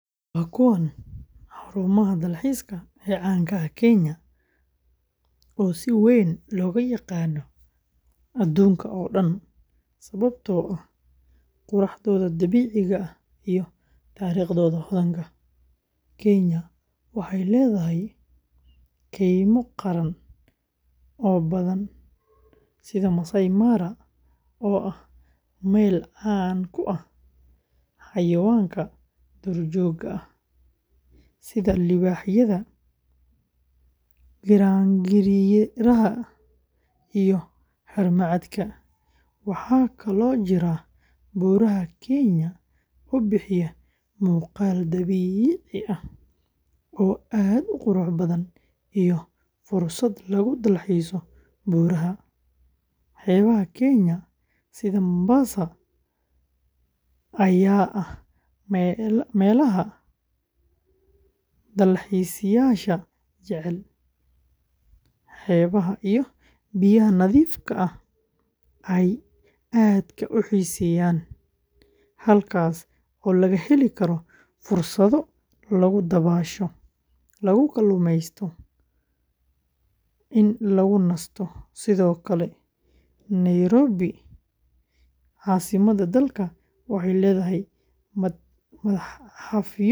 Waa kuwan xarumaha dalxiiska ee caan ka ah Kenya, oo si weyn looga yaqaan adduunka oo dhan sababtoo ah quruxdooda dabiiciga ah iyo taariikhdooda hodanka ah. Kenya waxay leedahay keymo qaran oo badan sida Maasai Mara, oo ah meel caan ku ah xayawaanka duurjoogta ah sida libaaxyada, giraangiraha, iyo harimacadka. Waxaa kaloo jira Buuraha Kenya oo bixiya muuqaal dabiici ah oo aad u qurux badan iyo fursad lagu dalxiiso buuraha. Xeebaha Kenya sida Mombasa ayaa ah meelaha dalxiisayaasha jecel xeebaha iyo biyaha nadiifka ah ay aadka u xiiseeyaan, halkaas oo laga heli karo fursado lagu dabaasho, lagu kaluumeysato, iyo lagu nasto. Sidoo kale, Nairobi, caasimadda dalka, waxay leedahay matxafyo iyo beero xayawaan.